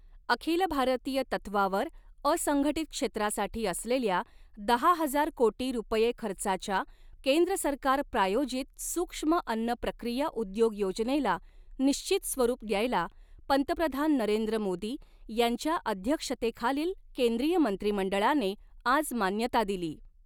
अखिल भारतीय तत्वावर असंघटित क्षेत्रासाठी असलेल्या दहा हजार कोटी रुपये खर्चाच्या केंद्र सरकार प्रायोजित सूक्ष्म अन्न प्रक्रिया उद्योग योजनेला निश्चित स्वरूप द्यायला पंतप्रधान नरेंद्र मोदी यांच्या अध्यक्षतेखालील केंद्रीय मंत्रिमंडळाने आज मान्यता दिली.